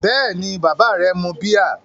Bẹ́ẹ̀ni, bàbá rẹ mu bíà.